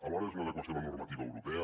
alhora és una adequació a la normativa europea